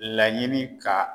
Laɲini ka